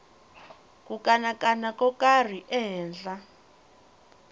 ku kanakana ko karhi ehenhla